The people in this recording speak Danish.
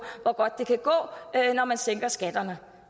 hvor godt det kan gå når man sænker skatterne